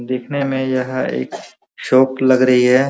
देखने में यह एक शॉप लग रही है।